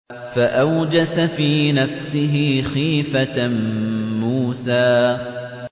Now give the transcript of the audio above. فَأَوْجَسَ فِي نَفْسِهِ خِيفَةً مُّوسَىٰ